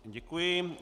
Děkuji.